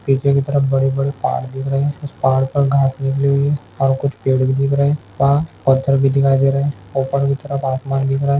पीछे की तरफ बड़े-बड़े पहाड़ दिख रहे है उस पहाड़ पर घास लगी हुई है और कुछ पेड़ भी दिख रहे है वहाँ पत्थर भी दिखाई दे रहे है ऊपर की तरफ आसमान दिख रहा है।